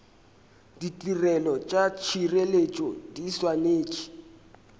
ditirelo tša tšhireletšo di swanetše